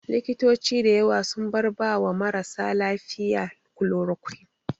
Likitoci da yawa sun bar ba wa marasa lafiya kulorokwin